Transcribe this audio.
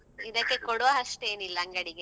ಹ ಇದಕ್ಕೆ ಕೊಡವಷ್ಟು ಏನಿಲ್ಲ ಅಂಗಡಿಗೆ.